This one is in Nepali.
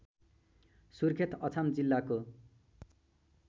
सुर्खेत अछाम जिल्लाको